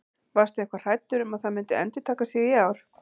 Varstu eitthvað hræddur um að það myndi endurtaka sig í ár?